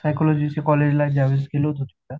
psychology च्या college ला ज्या वेळेस गेलो होतो तिथं